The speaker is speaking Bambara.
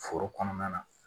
Foro kɔnɔna na